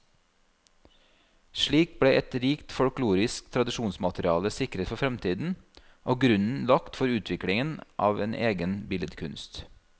Slik ble et rikt folkloristisk tradisjonsmateriale sikret for fremtiden, og grunnen lagt for utviklingen av en egen billedkunst.